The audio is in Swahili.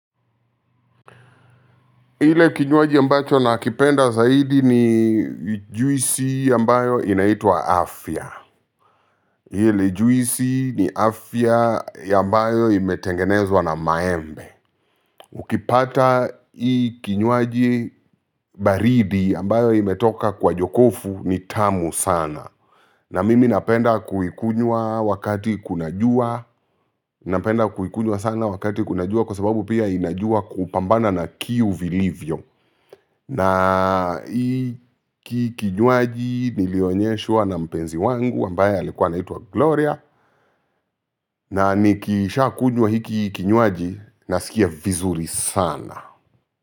Ile kinywaji ambacho na kipenda zaidi ni juisi ambayo inaitwa afya. Ile juisi ni afya ambayo imetengenezwa na maembe. Ukipata hii kinywaji baridi ambayo imetoka kwa jokofu ni tamu sana. Na mimi napenda kuikunywa wakati kuna jua napenda kuikunywa sana wakati kuna jua kwa sababu pia inajua kupambana na kiu vilivyo. Na hiki kinywaji nilionyeshwa na mpenzi wangu ambaye alikuwa anaitwa Gloria na nikisha kunywa hiki kinywaji nasikia vizuri sana.